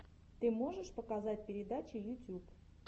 ты можешь показать передачи ютьюб